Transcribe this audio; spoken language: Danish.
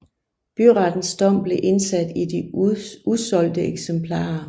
Byrettens dom blev indsat i de usolgte eksemplarer